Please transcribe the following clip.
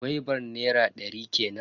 Gwaibar nera ɗari kenan.